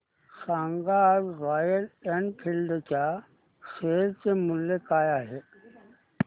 सांगा आज Royal Enfield च्या शेअर चे मूल्य काय आहे